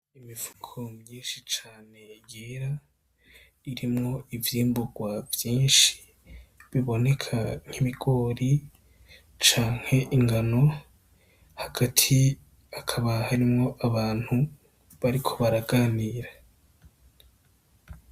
Imifuko myinshi cane yera irimwo ivyimburwa vyinshi biboneka nk'ibigori canke ingano hagati hakaba harimwo abantu bariko baraganira .